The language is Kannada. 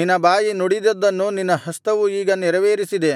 ನಿನ್ನ ಬಾಯಿ ನುಡಿದಿದ್ದನ್ನು ನಿನ್ನ ಹಸ್ತವು ಈಗ ನೆರವೇರಿಸಿದೆ